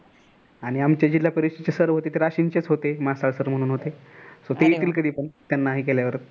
आणि आमचे जिल्हा परिषद चे sir होते ते राशीनचेच होते मासाळ sir म्हणून होते ते येतील कधी पण त्यांना हे केल्यावर.